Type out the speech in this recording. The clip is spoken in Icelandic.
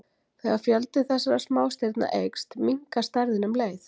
Þegar fjöldi þessara smástirna eykst, minnkar stærðin um leið.